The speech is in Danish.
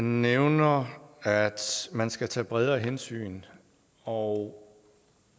nævner at man skal tage bredere hensyn og